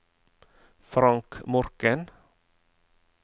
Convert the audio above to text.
Frank Morken